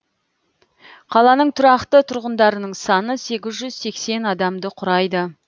қаланың тұрақты тұрғындарының саны сегіз жүз сексен адамды құрайды